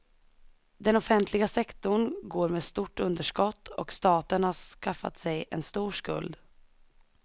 Den offentliga sektorn går med stort underskott och staten har skaffat sig en stor skuld.